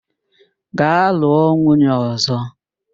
Gaa lụọ nwunye ọ̀zọ́!